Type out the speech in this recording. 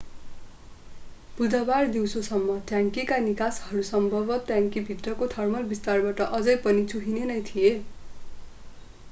बुधबार दिउँसोसम्म, ट्याङ्कीका निकासहरू सम्भवत ट्याङ्की भित्रको थर्मल विस्तारबाट अझै पनि चुहिने नै थिए।